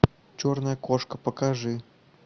черная кошка покажи